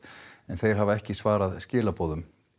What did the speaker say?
en þeir hafa ekki svarað skilaboðum